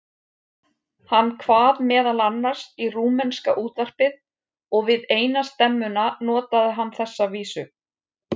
Hann kvað meðal annars í rúmenska útvarpið og við eina stemmuna notaði hann þessa vísu